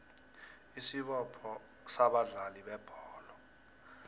isibopho sabadlali bebholo